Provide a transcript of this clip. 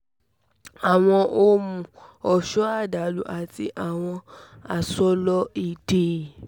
awọn ohun-ọṣọ adalo ati awọn asọlọ ide